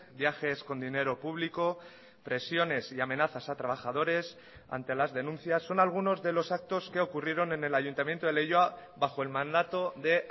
viajes con dinero público presiones y amenazas a trabajadores ante las denuncias son algunos de los actos que ocurrieron en el ayuntamiento de leioa bajo el mandato de